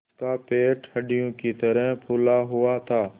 उसका पेट हंडिया की तरह फूला हुआ था